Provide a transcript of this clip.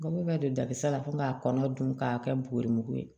N go bɛ don dabisa la ko k'a kɔnɔ dun k'a kɛ booo mugu ye